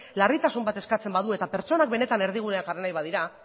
larritasun bat eskatzen badu eta pertsonak benetan erdigunean jarri nahi badira